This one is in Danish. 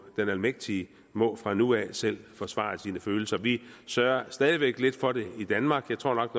den almægtige må fra nu af selv forsvare sine egne følelser vi sørger stadig væk lidt for det i danmark jeg tror nok